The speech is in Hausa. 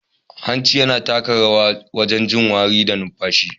Hanci yana taka rawa wajen jin wari da numfashi.